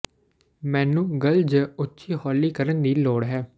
ਮੈਨੂੰ ਗੱਲ ਜ ਉੱਚੀ ਹੌਲੀ ਕਰਨ ਦੀ ਲੋੜ ਹੈ